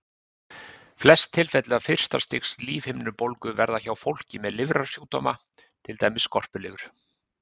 Flest tilfelli af fyrsta stigs lífhimnubólgu verða hjá fólki með lifrarsjúkdóma, til dæmis skorpulifur.